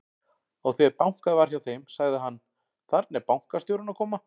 Og þegar bankað var hjá þeim, sagði hann: Þarna er bankastjórinn að koma.